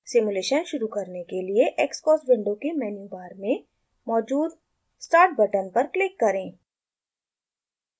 simulation शुरू करने के लिए xcos विंडो के मेन्यू बार में मौजूद start बटन पर क्लिक करें